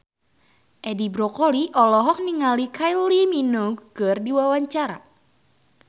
Edi Brokoli olohok ningali Kylie Minogue keur diwawancara